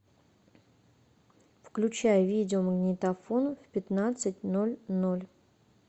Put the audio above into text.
включай видеомагнитофон в пятнадцать ноль ноль